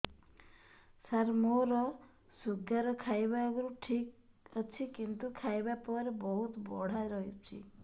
ସାର ମୋର ଶୁଗାର ଖାଇବା ଆଗରୁ ଠିକ ଅଛି କିନ୍ତୁ ଖାଇବା ପରେ ବହୁତ ବଢ଼ା ରହୁଛି